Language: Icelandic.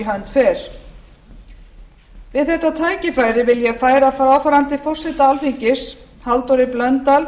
hönd fer við þetta tækifæri vil ég færa fráfarandi forseta alþingis halldóri blöndal